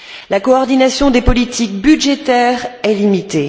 La coordination des politiques budgétaires est limitée.